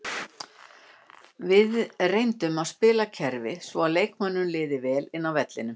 Við reyndum að spila kerfi svo að leikmönnunum liði vel inni á vellinum.